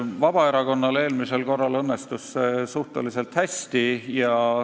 Vabaerakonnal õnnestus see eelmisel korral suhteliselt hästi.